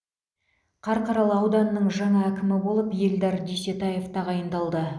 қарқаралы ауданының жаңа әкімі болып эльдар дүйсетаев тағайындалды